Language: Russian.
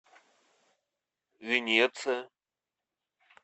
венеция